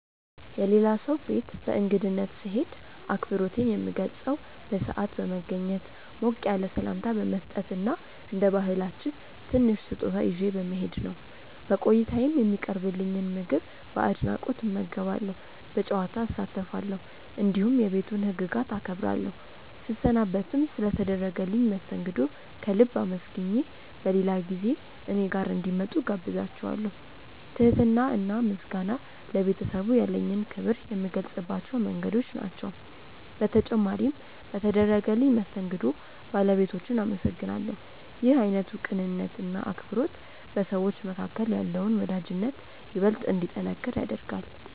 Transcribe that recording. የሌላ ሰው ቤት በእንግድነት ስሄድ አክብሮቴን የምገልጸው በሰዓት በመገኘት፣ ሞቅ ያለ ሰላምታ በመስጠት እና እንደ ባህላችን ትንሽ ስጦታ ይዤ በመሄድ ነው። በቆይታዬም የሚቀርብልኝን ምግብ በአድናቆት እመገባለሁ፣ በጨዋታ እሳተፋለሁ፣ እንዲሁም የቤቱን ህግጋት አከብራለሁ። ስሰናበትም ስለ ተደረገልኝ መስተንግዶ ከልብ አመስግኜ በሌላ ጊዜ እኔ ጋር እንዲመጡ እጋብዛቸዋለው። ትህትና እና ምስጋና ለቤተሰቡ ያለኝን ክብር የምገልጽባቸው መንገዶች ናቸው። በተጨማሪም በተደረገልኝ መስተንግዶ ባለቤቶቹን አመሰግናለሁ። ይህ አይነቱ ቅንነት እና አክብሮት በሰዎች መካከል ያለውን ወዳጅነት ይበልጥ እንዲጠነክር ያደርጋል።